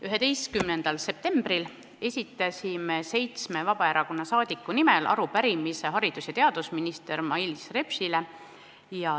11. septembril esitasid seitse Vabaerakonna saadikut arupärimise haridus- ja teadusminister Mailis Repsile.